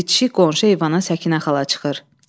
Bitişik qonşu eyvana Səkinə xala çıxır.